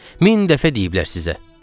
Min dəfə deyiblər sizə.